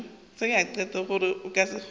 gore go ka se kgonege